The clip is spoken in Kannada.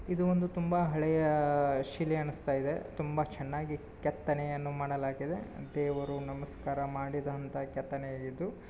ಇದು ಒಂದು ತುಂಬಾ ಹಳೆಯ ಆ--- ಶಿಲೆ ಅನ್ನುಸ್ತಾ ಇದೆ ತುಂಬಾ ಚೆನ್ನಾಗಿ ಕೆತ್ತನೆಯನ್ನು ಮಾಡಲಾಗಿದೆ ದೇವರು ನಮಸ್ಕಾರ ಮಾಡಿದಂತಹ ಕೆತ್ತನೆ ಇದು.